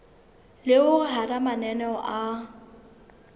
le hore hara mananeo a